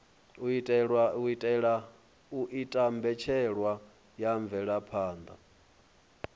u ita mbetshelwa ya mvelaphanda